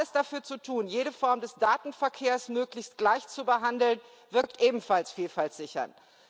Alles dafür zu tun, jede Form des Datenverkehrs möglichst gleichzubehandeln, wirkt ebenfalls Vielfalt sichernd.